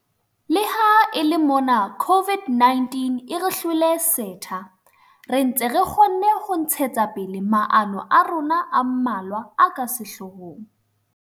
Le ha e le mona COVID-19 e re hlwele setha, re ntse re kgonne ho ntshetsa pele maano a rona a mmalwa a ka sehlohong.